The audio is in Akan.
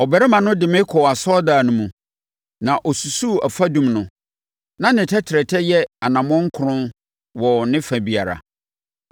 Ɔbarima no de me kɔɔ asɔredan no mu, na ɔsusuu afadum no; na ne tɛtrɛtɛ yɛ anammɔn nkron wɔ ne fa biara.